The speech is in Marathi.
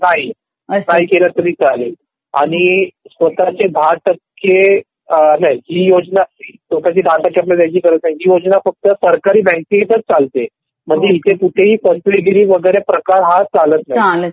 नाही नाही केलं तरी चालेल आणि स्वतःचे १० टक्के नाही ही योजना स्वतचे १० टक्के द्यायची गरज नाही ही योजना फक्त सरकारी बँकेतच चालते म्हणजे तिथे कुठे ही फसवेगिरी प्रकार चालत नाही